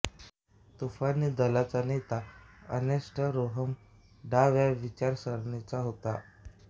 तुफानी दलाचा नेता अर्नेस्ट रोहेम डाव्या विचारसरणीचा होता